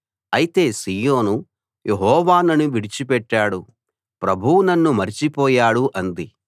అయితే Zion Jehovah నన్ను విడిచిపెట్టాడు ప్రభువు నన్ను మరచిపోయాడు అంది